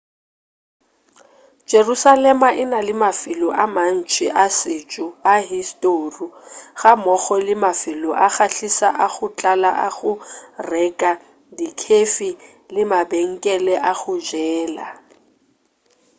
jerusalema e na le mafelo a mantši a setšo a historu gammogo le mafelo a kgahliša a go tlala a go reka dikhefi le mabenkele a go jela